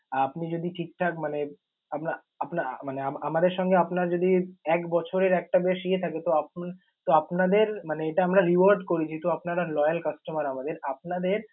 আর আপনি যদি ঠিক ঠাক মানে আপনা~ আপনা~ মানে আমাদের সঙ্গে আপনার যদি এক বছরের একটা বেশ ইয়ে থাকে, তো আপনা~ তো আপনাদের মানে এটা আমরা reward করি যেহেতু আপনারা loyal customer আমাদের। আপনাদের